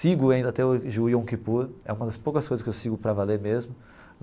Sigo ainda até hoje o Yom Kippur, é uma das poucas coisas que eu sigo para valer mesmo.